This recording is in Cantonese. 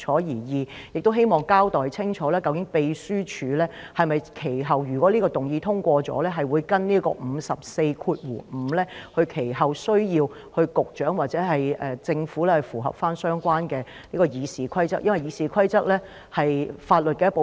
第二，亦希望你交代清楚，若此議案獲得通過，究竟秘書處其後會否按照《議事規則》第545條行事，需要局長或政府符合相關議事規則，因為《議事規則》是法律一部分。